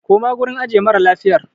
Koma gurin ajiye mara lafiyar!